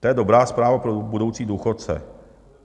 To je dobrá zpráva pro budoucí důchodce.